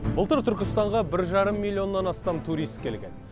былтыр түркістанға бір жарым миллионнан астам турист келген